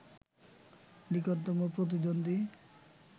নিকটতম প্রতিদ্বন্দ্বী